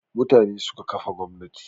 Mutane suka kafa gwamnati